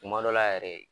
Tuma dɔ la yɛrɛ